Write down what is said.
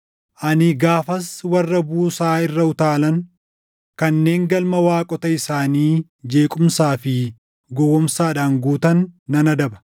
Ani gaafas warra buusaa irra utaalan, kanneen galma waaqota isaanii jeequmsaa fi gowwoomsaadhaan guutan nan adaba.”